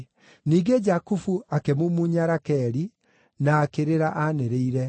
Ningĩ Jakubu akĩmumunya Rakeli, na akĩrĩra anĩrĩire.